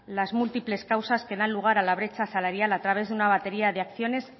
las múltiples causas que dan lugar a la brecha salarial a través de una batería de acciones